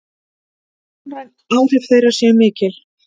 Sjónræn áhrif þeirra séu mikil.